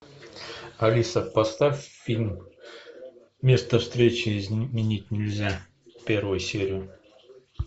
алиса поставь фильм место встречи изменить нельзя первую серию